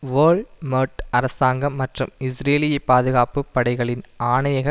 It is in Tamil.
ஓல்மெர்ட் அரசாங்கம் மற்றும் இஸ்ரேலிய பாதுகாப்பு படைகளின் ஆணயக